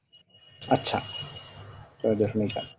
আচ্ছা ছয় দশমিক আট